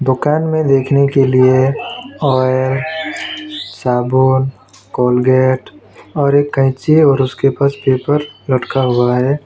दुकान में देखने के लिए और साबुन कोलगेट और एक कैंची और उसके पास पेपर लटका हुआ है।